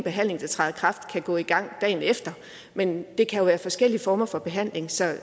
behandling der træder i kraft kan gå i gang dagen efter men det kan være forskellige former for behandling så